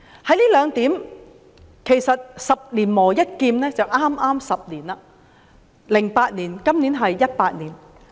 在這兩方面，其實是"十年磨一劍 "，2008 年至今2018年，剛好是10年。